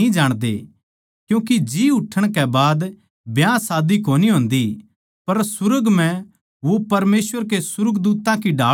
क्यूँके जी उठण कै बाद ब्याह शादी कोनी होन्दी पर सुर्ग म्ह वो परमेसवर के सुर्गदूत्तां की ढाळ होवैगें